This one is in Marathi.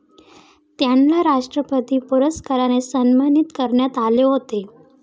त्यांना राष्ट्रपती पुरस्काराने सन्मानित करण्यात आले होते.